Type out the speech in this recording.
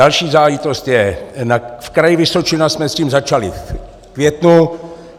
Další záležitost je - v Kraji Vysočina jsme s tím začali v květnu.